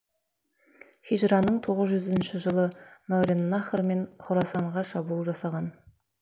хижраның тоғыз жүз жылынышы мауреннахр мен хорасанға шабуыл жасаған